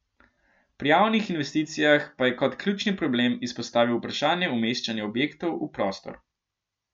Pri javnih investicijah pa je kot ključni problem izpostavil vprašanje umeščanja objektov v prostor.